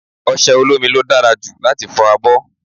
Ọṣẹ olómi ló dára jù láti fọ abọ́.